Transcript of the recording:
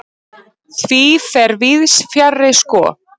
Því fer víðs fjarri sko.